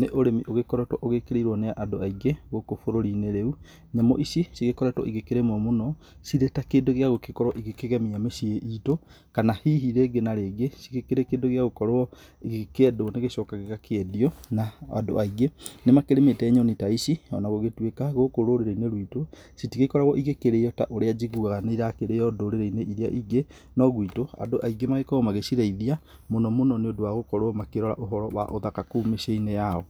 nĩ ũrimi ũgĩkoretwo ũgĩkĩrĩirwo nĩ andũ aingĩ gũkũ bũrũri-inĩ rĩu. Nyamũ ici cigĩkoretwo ikĩrĩmwo mũno cirĩ ta kĩndũ gĩa gũgĩkorwo ikĩgemia mĩciĩ itũ. Kana hihi rĩngĩ na rĩngĩ cikĩrĩ kĩndũ gĩa gũkorwo gĩkĩendwo gĩgacoka gĩgakĩendio. Ona andũ aingĩ nĩ makĩrĩmĩte nyoni ta ici ona gũgĩtuĩka gũkũ rũrĩrĩ-inĩ ruitũ citigĩkoragwo igĩkĩrĩo ta ũrĩa njiguaga nĩ irakĩrĩo ndũrirĩ-inĩ iria ingĩ. No guitũ andĩ aingĩ makoragwo magĩcirĩithia mũno mũno nĩ ũndũ wa gũkorwo magĩkĩrora ũhoro wa ũthaka kũu mĩciĩ-inĩ yao.